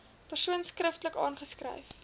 persoon skriftelik aanskryf